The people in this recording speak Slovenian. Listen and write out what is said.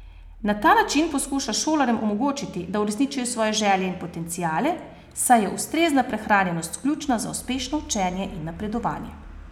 Na ta način poskuša šolarjem omogočiti, da uresničijo svoje želje in potenciale, saj je ustrezna prehranjenost ključna za uspešno učenje in napredovanje.